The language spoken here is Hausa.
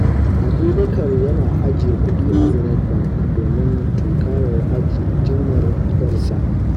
Abubakar yana ajiye kudi a Zenith Bank domin tunkarar jinyar ƴarsa.